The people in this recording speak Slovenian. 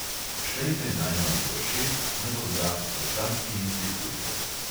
Štejte najmanj do šest, nato zrak počasi izdihujte.